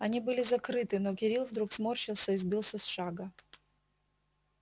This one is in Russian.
они были закрыты но кирилл вдруг сморщился и сбился с шага